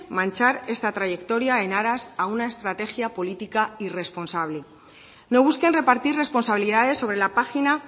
manchar esa trayectoria en aras a una estrategia política irresponsable no busquen repartir responsabilidades sobre la página